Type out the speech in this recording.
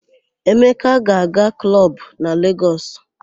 Emeka ga-aga klọb na Legọs.